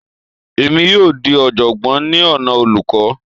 Èmi yóò dì í oọ̀jọ̀gbọ́n ní ọ̀nà olùkọ́